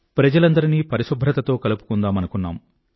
ప్రజలందరినీ పరిశుభ్రతతో కలుపుకుందామనుకున్నాం